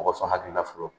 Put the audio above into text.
Mɔgɔ sɔn hakili la fɔlɔ